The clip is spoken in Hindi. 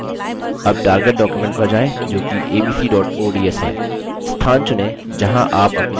abc target document पर जाएँ जोकि abc ods है